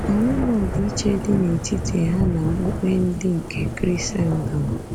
O nweghị ọdịiche dị n’etiti ha na okpukpe ndị nke Krisendọm.